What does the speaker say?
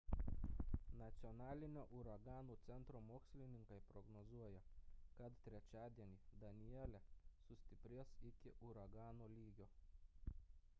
nacionalinio uraganų centro mokslininkai prognozuoja kad trečiadienį danielle sustiprės iki uragano lygio